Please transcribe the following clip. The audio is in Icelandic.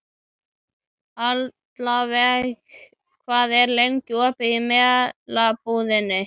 Aðalveig, hvað er lengi opið í Melabúðinni?